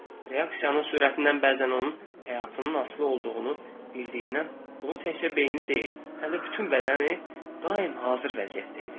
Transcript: Reaksiyanın sürətindən bəzən onun həyatının asılı olduğunu bildiyindən bunu təkcə beyni deyil, həm də bütün bədəni daim hazır vəziyyətdə idi.